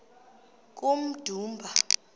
kummdumba